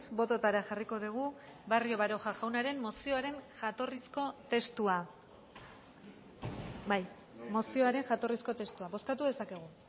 bototara jarriko dugu barrio baroja jaunaren mozioaren jatorrizko testua bai mozioaren jatorrizko testua bozkatu dezakegu